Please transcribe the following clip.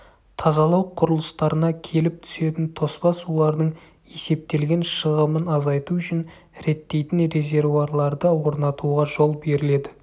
тазалау құрылыстарына келіп түсетін тоспа сулардың есептелген шығымын азайту үшін реттейтін резервуарларды орнатуға жол беріледі